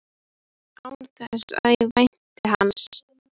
Alltaf það sama og í sömu röð.